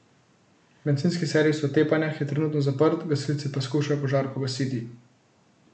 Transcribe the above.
Bencinski servis v Tepanjah je trenutno zaprt, gasilci pa skušajo požar pogasiti.